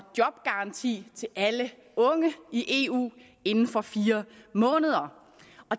jobgaranti til alle unge i eu inden for fire måneder